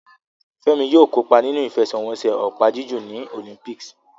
Femi yóò kópa nínú ìfẹsẹ̀wọnsẹ̀ opa-jiju ní Olympics.